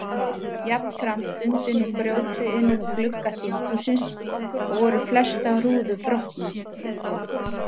Jafnframt dundi nú grjóthríð innum glugga þinghússins og voru flestar rúður brotnar.